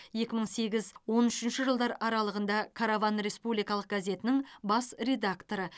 екі мың сегіз он үшінші жылдар аралығында караван республикалық газетінің бас редакторы